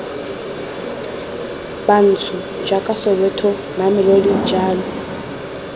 bantsho jaaka soweto mamelodi jalo